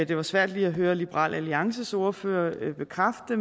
det var svært lige at høre liberal alliances ordfører bekræfte